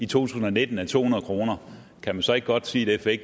tusind og nitten er to hundrede kr kan man så ikke godt sige at